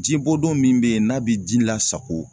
Ji bodon min be ye n'a be ji lasago